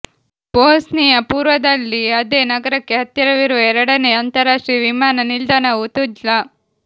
Bosnia ಪೂರ್ವದಲ್ಲಿ ಅದೇ ನಗರಕ್ಕೆ ಹತ್ತಿರವಿರುವ ಎರಡನೇ ಅಂತರರಾಷ್ಟ್ರೀಯ ವಿಮಾನ ನಿಲ್ದಾಣವು ತುಜ್ಲಾ